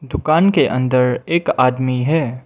दुकान के अंदर एक आदमी है।